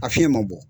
A fiɲɛ ma bɔ